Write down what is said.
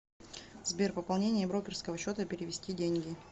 сбер пополнение брокерского счета перевести деньги